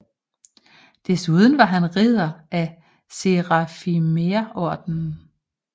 Desuden var han ridder af Serafimerorden